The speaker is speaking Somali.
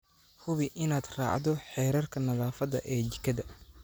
Hubi inaad raacdo xeerarka nadaafadda ee jikada.